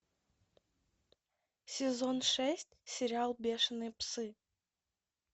сезон шесть сериал бешеные псы